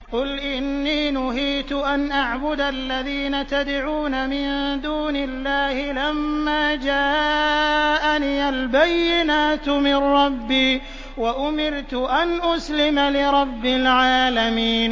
۞ قُلْ إِنِّي نُهِيتُ أَنْ أَعْبُدَ الَّذِينَ تَدْعُونَ مِن دُونِ اللَّهِ لَمَّا جَاءَنِيَ الْبَيِّنَاتُ مِن رَّبِّي وَأُمِرْتُ أَنْ أُسْلِمَ لِرَبِّ الْعَالَمِينَ